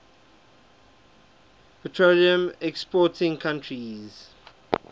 petroleum exporting countries